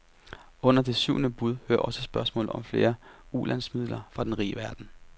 Under det syvende bud hører også spørgsmålet om flere ulandsmidler fra den rige verden.